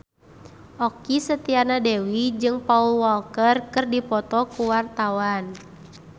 Okky Setiana Dewi jeung Paul Walker keur dipoto ku wartawan